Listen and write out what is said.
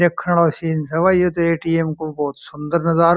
देखने लायक सीन है ए_टि_एम को बहुत सुन्दर नज़ारा --